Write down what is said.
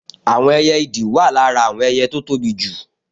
Àwọn ẹyẹ ìdì wà lára àwọn ẹyẹ tó tóbi jù